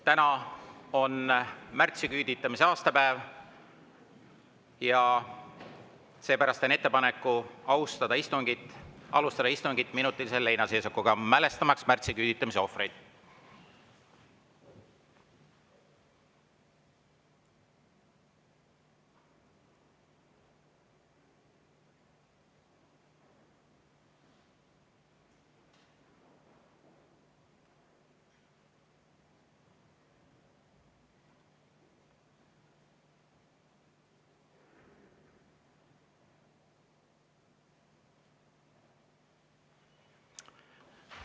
Täna on märtsiküüditamise aastapäev, seepärast teen ettepaneku alustada istungit minutilise leinaseisakuga, et mälestada märtsiküüditamise ohvreid.